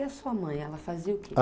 E a sua mãe, ela fazia o quê?